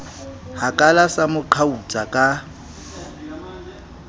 hakala sa mo qhautsa ka